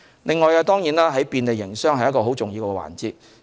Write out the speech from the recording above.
此外，便利營商也是重要的環節。